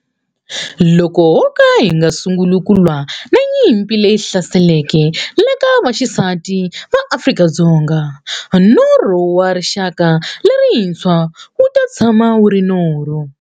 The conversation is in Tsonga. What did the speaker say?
Loko ho ka hi nga sunguli ku lwa na nyimpi leyi hlaselaka vaxisati va Afrika-Dzonga, norho wa rixaka lerintshwa wu ta tshama wu ri norho.